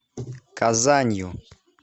казанью